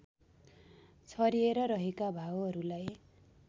छरिएर रहेका भावहरूलाई